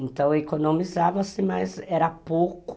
Então, economizava-se, mas era pouco.